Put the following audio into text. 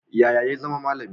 Yaya zama malami?